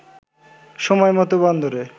সময়মত বন্দরে